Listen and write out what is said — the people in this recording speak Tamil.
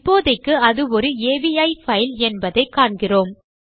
இப்போதைக்கு அது ஒரு அவி பைல் என்பதை காண்கிறோம்